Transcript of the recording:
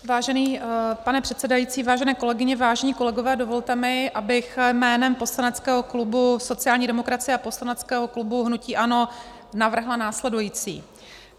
Vážený pane předsedající, vážené kolegyně, vážení kolegové, dovolte mi, abych jménem poslaneckého klubu sociální demokracie a poslaneckého klubu hnutí ANO navrhla následující.